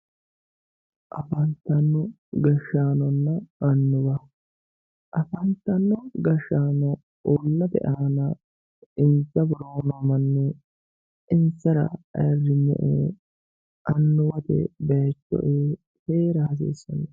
Afantino gashshaanonna annuwa, afantano gashshaanonna uullate aana insa worooni noo manni insara ayirrisame annuwate bayicho e"e heera hasiisano.